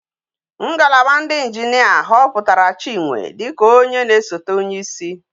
Ngalaba ndi engineer hoputara chinwe dika onye na esote onye isi